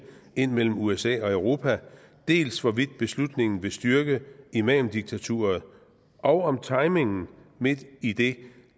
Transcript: ind imellem usa og europa dels hvorvidt beslutningen vil styrke imamdiktaturet og om timingen midt i det